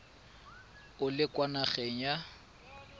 o le kwa nageng ya